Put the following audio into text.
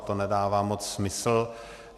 A to nedává moc smysl.